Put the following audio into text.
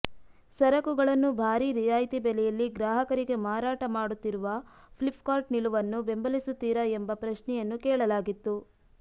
ಸರಕುಗಳನ್ನು ಭಾರಿ ರಿಯಾಯ್ತಿ ಬೆಲೆಯಲ್ಲಿ ಗ್ರಾಹಕರಿಗೆ ಮಾರಾಟ ಮಾಡುತ್ತಿರುವ ಫ್ಲಿಪ್ಕಾರ್ಟ್ ನಿಲುವನ್ನು ಬೆಂಬಲಿಸುತ್ತೀರಾ ಎಂಬ ಪ್ರಶ್ನೆಯನ್ನು ಕೇಳಲಾಗಿತ್ತು